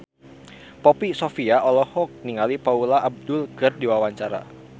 Poppy Sovia olohok ningali Paula Abdul keur diwawancara